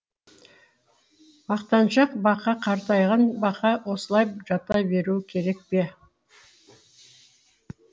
мақтаншақ бақа қартайған бақа осылай жата беруі керек пе